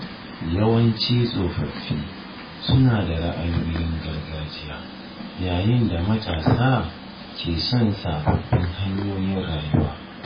Yawanci tsofaffi suna da ra’ayoyin gargajiya, yayin da matasa ke son sabbin hanyoyin rayuwa.